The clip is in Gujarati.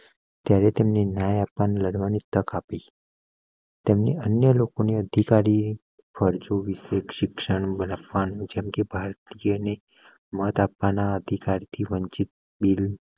ત્યારે તેમને ન્યાય આપવાની લડવા ની તક આપી. તેમની અન્ય લોકોને અધિકારી ફરજો વિશે શિક્ષણ બંધ રાખવા ની જેમકે ભારતીયો ને મત આપવા ના અધિકાર થી વંચિત બિલ